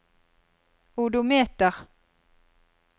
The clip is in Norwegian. odometer